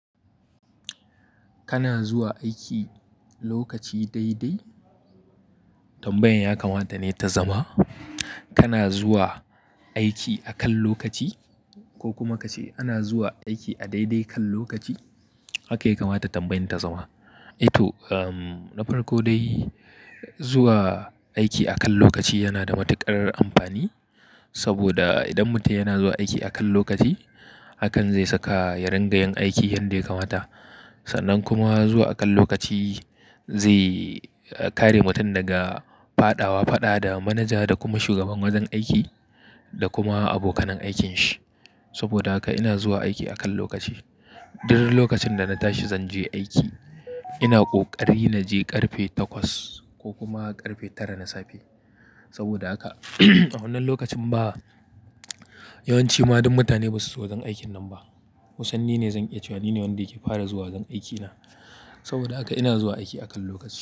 Kana zuwa aiki lokaci dai dai tambayan ya kamata ne ta zama? Kana zuwa aiki akan lokaci ko kuma kace ana zuwa aiki a dai dai kan lokaci haka yake kamata tambayar ta zama. Ito, umm, na farko dai zuwa aiki akan lokaci yana da matuƙar amfani saboda idan mutum yana zuwa aiki akan lokaci hakan zai saka ya riƙa yin aiki yanda ya kamata. Sannan kuma zuwa akan lokaci zai kare mutum daga fada wa fada da manaja da kuma shugaban wajen aiki da kuma abokanan aikinsa. Saboda haka ina zuwa aiki akan lokaci. Dur lokacin da na tashi zan je aiki ina ƙoƙari na je ƙarfe takwas ko kuma ƙarfe tara na safe. Saboda haka a wannan lokacin ba yawanci ma duk mutane ba su zo wajen aikin nan ba. Wasanni ne zan iya cewa nine wanda yake fara zuwa gan aikina. Saboda haka ina zuwa aiki akan lokaci.